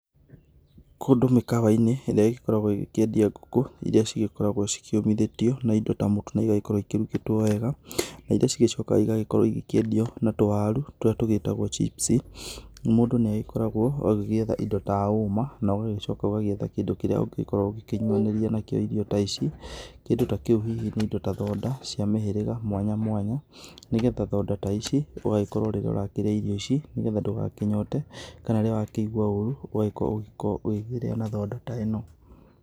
Kũndũ mĩkawa-inĩ ĩrĩa ĩgĩkoragwo ĩkĩendia ngũkũ iria cigĩkoragwo cikĩũmithĩtio na indo ta mũtu na igagĩkorwo ikĩrugĩtwo wega na iria cigĩcokaga igagĩkorwo igĩkĩendĩo na tũwaru tũrĩa tũgĩtagwo chips mũndũ nĩ agĩkoragwo agĩgĩetha indo ta homa na ũgagĩcoka ũgagĩetha kĩndũ kĩrĩa ũngĩgikorwo ũkĩnyuanĩria nakĩo irio ta ici kĩndũ ta kĩu hihi ni indo ta thonda cia mĩhĩrĩga mwanya mwanya nĩgetha thonda ta ici ũgagĩkorwo rĩrĩa ũrakĩrĩa irio ici nĩgetha ndũgakĩnyote kana rĩrĩa wakĩigũa ũru ũgagĩkorwo ũkĩrĩa na thonda ta ĩno.